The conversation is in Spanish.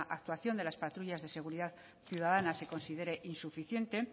actuación de las patrullas de seguridad ciudadana se considere insuficiente